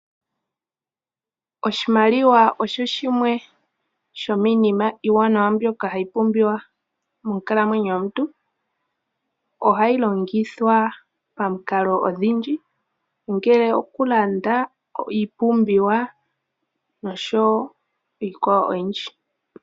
Oshimaliwa osho shimwe shomiinima iiwanawa mbyoka hayi pumbiwa monkalamwenyo yomuntu. Ohayi longithwa pamikalo odhindji ongele okulanda iipumbiwa noshowo iikwawo oyindji.